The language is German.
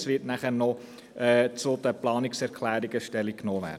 Es wird nachher noch zu den Planungserklärungen Stellung genommen.